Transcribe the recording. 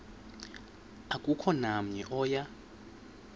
akukho namnye oya